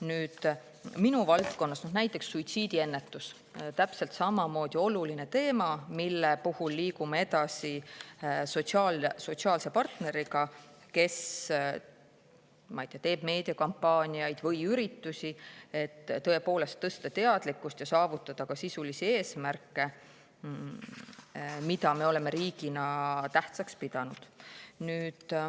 Nüüd, minu valdkonnas on näiteks suitsiidiennetus täpselt samuti oluline teema, mille puhul liigume edasi sotsiaalse partneriga, kes teeb meediakampaaniaid või üritusi, et tõepoolest tõsta teadlikkust ja saavutada ka sisulisi eesmärke, mida me oleme riigina tähtsaks pidanud.